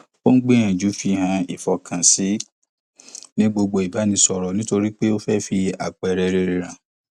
ó ń gbìyànjú fíhàn ìfọkànsìn ní gbogbo ìbánisọrọ nítorí pé ó fẹ fi àpẹẹrẹ rere hàn